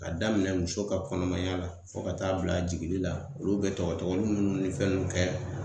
Ka daminɛ muso ka kɔnɔmaya la fɔ ka taa bila jiginli la olu be tɔgɔ tɔgɔni munnu ni fɛnw munnu kɛ